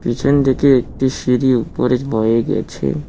পিছনদিকে একটি সিঁড়ি উপরে বয়ে গেছে।